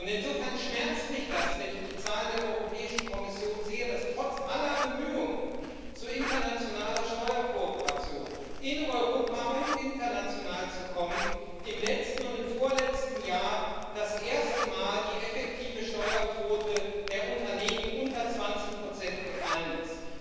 Insofern schmerzt mich das, wenn ich die Zahlen der Europäischen Kommission sehe, dass trotz aller Bemühungen, zu internationaler Steuerkooperation in Europa und international zu kommen, im letzten und im vorletzten Jahr das erste Mal die effektive Steuerquote der Unternehmen unter 20 gefallen ist.